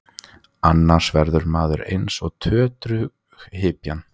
Annars verður maður eins og tötrughypjan.